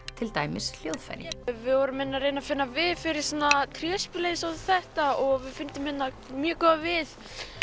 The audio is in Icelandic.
til dæmis hljóðfæri við vorum hérna að reyna að finna við fyrir svona tréspil eins og þetta og við fundum hérna mjög góðan við